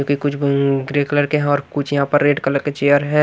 जो कि कुछ गंग्रे कलर के हैं और कुछ यहां पर रेड कलर के चेयर है।